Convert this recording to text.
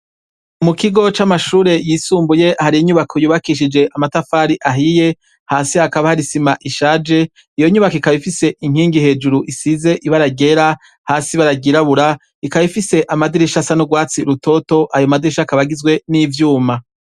Mu kigo c'amashure yisumbuye hari inyubako yubakishije amatafari ahiye hasi hakaba hari isima ishaje, iyo nyubako ikaba ifise inkingi hejuru isize ibara ryera hasi ibara ryirabura ikaba ifise amadirisha asa n'urwatsi rutoto ,ayo madirisha akaba agizwe n'ivyuma.